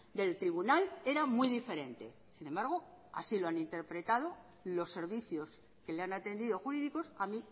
del tribunal era muy diferente sin embargo así lo han interpretado los servicios que le han atendido jurídicos a